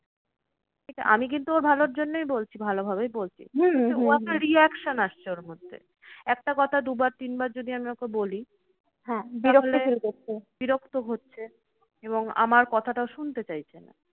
আমি কিন্তু ওর ভালোর জন্যই বলছি, ভালো ভাবেই বলছি। একটা reaction আসছে ওর মধ্যে। একটা কথা দুবার তিনবার যদি আমি ওকে বলি বিরক্ত হচ্ছে এবং আমার কথাটা শুনতে চাইছে না।